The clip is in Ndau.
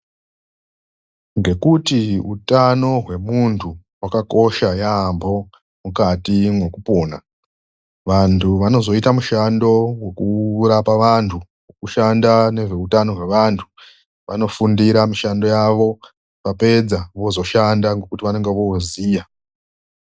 Ngekuti utano hwemuntu hwakakosha yaambo mukati mwekupona, vantu vanozoita mushando wekurapa vantu, wekushanda nezveutano hwevantu vanofundira mishando yavo. Vapedza vozoshanda ngekuti vanonga vooziya